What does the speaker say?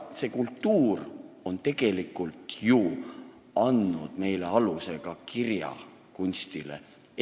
See kultuur on ju tegelikult andnud aluse ka meie kirjakunstile.